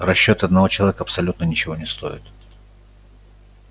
расчёты одного человека абсолютно ничего не стоят